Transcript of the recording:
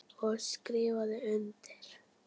Og skrifa undir.